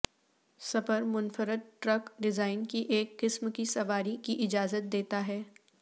super منفرد truck design کی ایک قسم کی سواری کی اجازت دیتا ہے